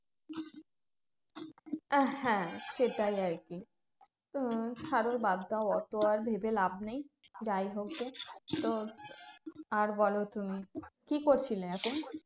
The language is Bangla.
আহ হ্যাঁ সেটাই আরকি উম ছাড়ো বাদ দাও অত আর ভেবে লাভ নেই যাইহোক গে। তো আর বলো তুমি কি করছিলে এখন?